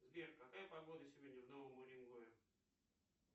сбер какая погода сегодня в новом уренгое